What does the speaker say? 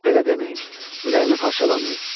Belə deməyin, ürəyimi parçalamayın.